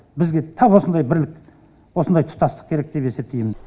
бізге тап осындай бірлік осындай тұтастық керек деп есептеймін